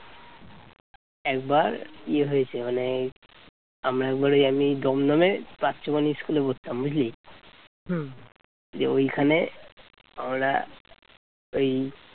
একবার ইয়ে হয়েছে মানে আমরা একবার এমনি মানে দমদমে প্রাচ্যবানী school পড়তাম বুঝলি দিয়ে ওইখানে ওরা এই